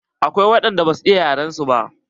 Akwai waɗan da ba su iya yaren su ba.